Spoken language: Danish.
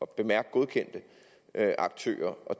bemærk godkendte aktører